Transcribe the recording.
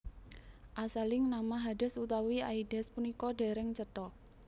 Asaling nama Hades utawi Aides punika dereng cetha